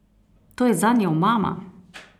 To je zanje omama!